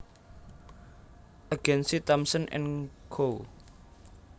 Agence Thompson and Co